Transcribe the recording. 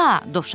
İya!